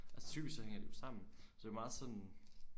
Altså typisk så hænger det jo sammen så det jo meget sådan